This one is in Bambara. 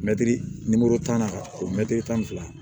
Mɛtiri tan na o mɛtiri tan ni fila